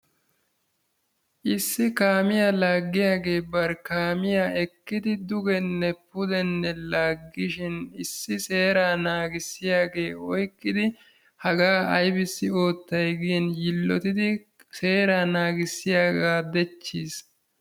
Iss kaamiya laggiyaagee bari kaamiya ekkidi dugenne pudenne laaggishin issi seeraa naagissiygee oyqqidi hagaa aybissi oottay gin yiilottidi seeraa naagissiyagaa dechchiis.